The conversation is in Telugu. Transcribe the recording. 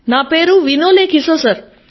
నా పేరు వినోలే కిసో సర్